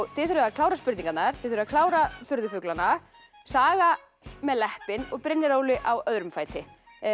þið þurfið að klára spurningarnar þið þurfið að klára furðufuglana saga með og Brynjar Óli á öðrum fæti